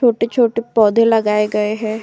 छोटे-छोटे पौधे लगे गए हैं।